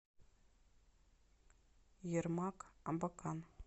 ермак абакан